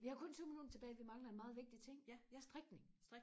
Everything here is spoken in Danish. vi har kun tyve minutter tilbage vi mangler en meget vigtig ting strikning